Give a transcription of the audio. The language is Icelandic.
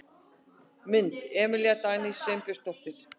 Mynd: Emilía Dagný Sveinbjörnsdóttir.